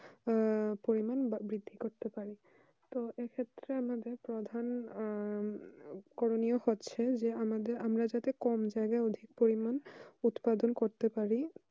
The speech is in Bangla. আহ পরিমান বৃদ্ধি করতে পারি তো এই ক্ষেত্রে আমাদের প্রধান আহ করিনিয় হচ্ছে যে আমাদের আমরা যাতে কম যায়গায় অধিক পরিমান উৎপাদন করতে পারি